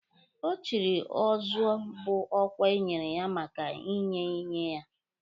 Ọchịrị ọ zụọ bụ ọkwa enyere ya maka inye enye ya